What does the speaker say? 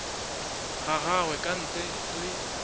ga gagwe ka ntle le